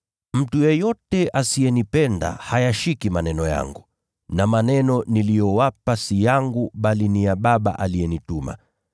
Mtu yeyote asiyenipenda hayashiki maneno yangu na maneno niliyowapa si yangu bali ni ya Baba aliyenituma.